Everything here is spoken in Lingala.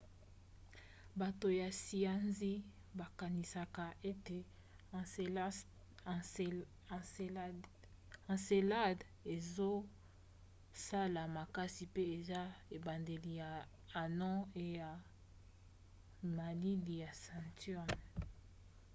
bato ya siansi bakanisaka ete encelade ezosala makasi pe eza ebandeli ya anneau e ya malili ya saturne